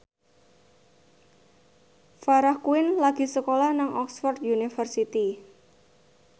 Farah Quinn lagi sekolah nang Oxford university